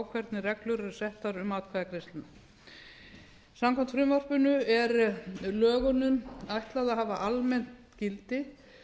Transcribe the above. hvernig reglur eru settar um atkvæðagreiðsluna samkvæmt frumvarpinu er lögunum ætlað að hafa almennt gildi